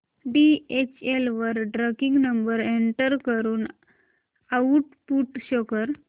DHL वर tracking number enter करून output show कर